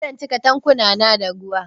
Zan cika tankunan da ruwa